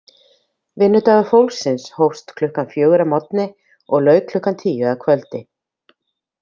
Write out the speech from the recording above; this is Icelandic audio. Vinnudagur fólksins hófst klukkan fjögur að morgni og lauk klukkan tíu að kvöldi.